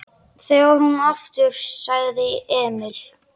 Þegar hún kom aftur sagði Emil